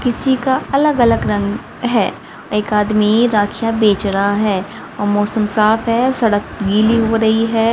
किसी का अलग अलग रंग है एक आदमी राखियां बेच रहा है और मौसम साफ है सड़क गीली हो रही है।